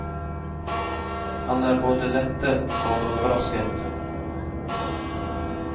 Han er både lettet og overrasket.